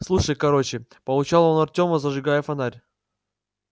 слушай короче поучал он артема зажигая фонарь